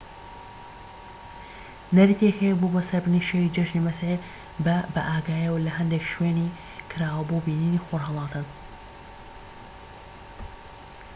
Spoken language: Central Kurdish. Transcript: نەریتێک هەیە بۆ بەسەربردنی شەوی جەژنی مەسیح بە بائاگاییەوە لە هەندێک شوێنی کراوە بۆ بینینی خۆرهەڵاتن